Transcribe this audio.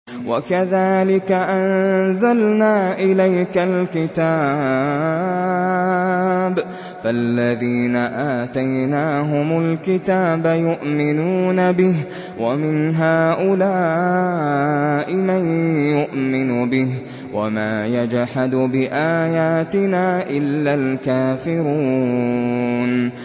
وَكَذَٰلِكَ أَنزَلْنَا إِلَيْكَ الْكِتَابَ ۚ فَالَّذِينَ آتَيْنَاهُمُ الْكِتَابَ يُؤْمِنُونَ بِهِ ۖ وَمِنْ هَٰؤُلَاءِ مَن يُؤْمِنُ بِهِ ۚ وَمَا يَجْحَدُ بِآيَاتِنَا إِلَّا الْكَافِرُونَ